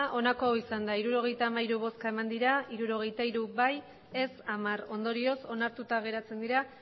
emandako botoak hirurogeita hamairu bai hirurogeita hiru ez hamar ondorioz onartuta geratzen dira